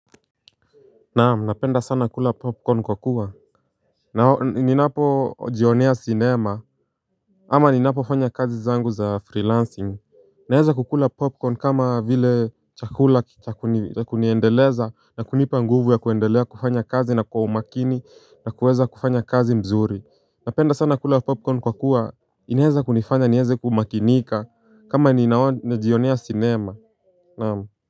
Naam, napenda sana kula popcorn kwa kuwa ninapojionea sinema ama ninapofanya kazi zangu za freelancing. Naweza kukula popcorn kama vile chakula cha kuniendeleza na kunipa nguvu ya kuendelea kufanya kazi na kwa umakini na kuweza kufanya kazi mzuri. Napenda sana kula popcorn kwa kuwa inaweza kunifanya niweze kumakinika kama najionea sinema naamu. Kwa hivyo.